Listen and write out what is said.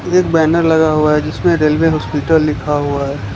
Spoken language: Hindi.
एक बैनर लगा हुआ है जिसमें रेलवे हॉस्पिटल लिखा हुआ है।